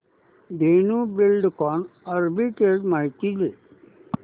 Dhenu Buildcon arbitrage माहिती दे